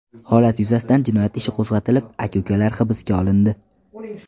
Holat yuzasidan jinoyat ishi qo‘zg‘atilib, aka-ukalar hibsga olindi.